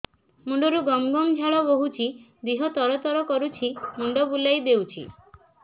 ମୁଣ୍ଡରୁ ଗମ ଗମ ଝାଳ ବହୁଛି ଦିହ ତର ତର କରୁଛି ମୁଣ୍ଡ ବୁଲାଇ ଦେଉଛି